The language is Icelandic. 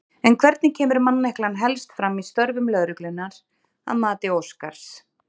En hvernig kemur manneklan helst fram í störfum lögreglunnar að mati Óskars?